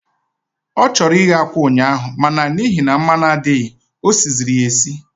Ọ chọrọ ighe akwa ụnyaahụ, ma na n'ihi na mmanụ adịghị, o siziri ya esi.